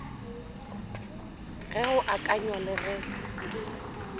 ge go akanywa le ge